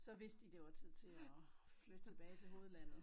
Så vidste de det var tid til at flytte tilbage til hovedlandet